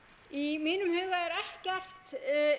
í mínum huga er ekkert